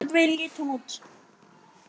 Svona nokkurn veginn leit hún út